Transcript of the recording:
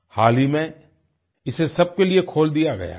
हाल ही में इसे सबके लिए खोल दिया गया है